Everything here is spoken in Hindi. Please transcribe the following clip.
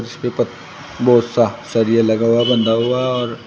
इसपे पत बहोत सा सरिया लगा हुआ बंधा हुआ और--